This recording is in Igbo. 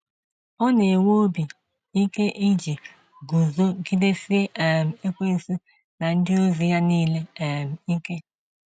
Ọ na-ewe obi ike iji guzogidesie um ekwensu na ndị ozi ya nile um ike.